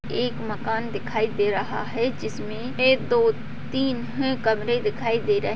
एक मकान दिखाई दे रहा है जिसमें एक दो तीन ह कमरे दिखाई दे र --